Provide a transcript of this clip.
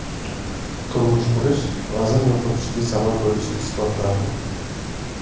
Turmush qurish vazn yo‘qotishga sabab bo‘lishi isbotlandi.